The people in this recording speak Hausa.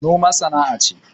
Noma sana'a ce